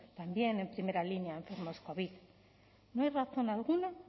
también en primera línea a enfermos covid no hay razón alguna